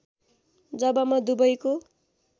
जब म दुबईको